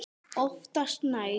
Oftast nær